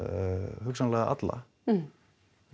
hugsanlega alla